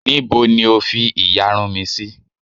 Níbo ni O fi ìyarun mi sí?